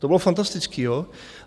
To bylo fantastický, jo.